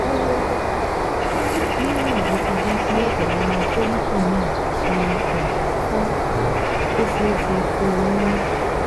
Níwọ̀n bó ti jẹ́ pé àwọn follicle náà ti um fọ́, ó ṣeé ṣe kó o lóyún